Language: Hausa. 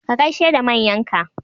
Ka gaishe da manyan ka!